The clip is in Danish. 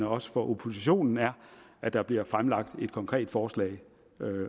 også for oppositionen er at der bliver fremlagt et konkret forslag